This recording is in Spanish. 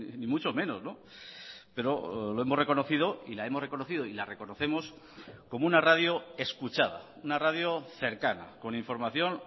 ni mucho menos pero lo hemos reconocido y la hemos reconocido y la reconocemos como una radio escuchada una radio cercana con información